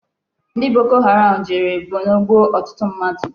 Ndi Boko Haram jere Borno gbuo otutu mmadu